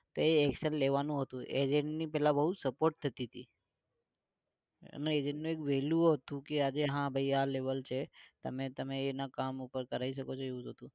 તો action લેવાનું હતું agent ની પેલા બહુ support થતી તી અને agent ની એક value હતું કે આજે હા ભાઈ આજે આ level છે તમે એનાં કામ પર કરાઈ શકો છો એવું બધું